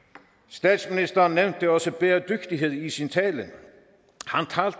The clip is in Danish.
statsministeren nævnte også bæredygtighed i sin tale